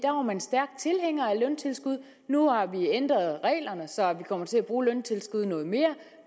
man stærk tilhænger af løntilskud nu har vi ændret reglerne så vi kommer til at bruge løntilskud noget mere